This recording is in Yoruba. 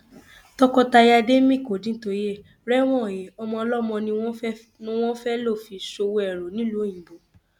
tọkọtaya ademeikodintóyè rẹwọn he ọmọ ọlọmọ ni wọn fẹẹ lọ fi ṣòwò ẹrú nílùú òyìnbó